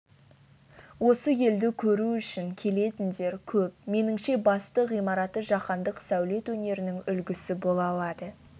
осы елді көру үшін келетіндер көп меніңше басты ғимараты жаһандық сәулет өнерінің үлгісі бола алады